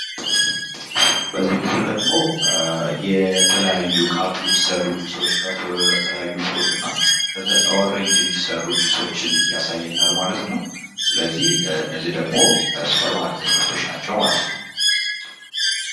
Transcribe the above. በዚህ ምስል ላይ ደግሞ የተለያዩ ከአፕል የተሰሩ ጁሶች እና የተለያዩ ፍሩት እና ከኦሬንጅ የሚሰሩ ጁሶችን ያሳየናል። ማለት ነው። ስለዚህ እነዚህ ደግሞ የሱፐር ማርኬት ምርቶች ናቸው ማለት ነው።